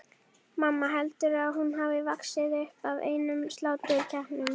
Mamma, heldurðu að hún hafi vaxið upp af einum sláturkeppnum?